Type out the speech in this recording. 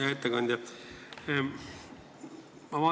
Hea ettekandja!